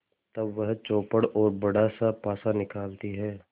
तब वह चौपड़ और बड़ासा पासा निकालती है